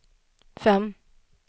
fem